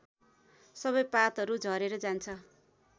सबै पातहरू झरेर जान्छ